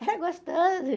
Era gostoso.